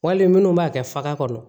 Wali minnu b'a kɛ faga kɔnɔ